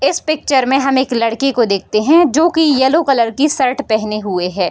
इस पिक्चर में हम एक लड़के को देखते हैं जो की येलो कलर की शर्ट पहने हुए है।